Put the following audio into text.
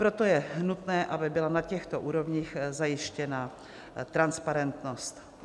Proto je nutné, aby byla na těchto úrovních zajištěna transparentnost.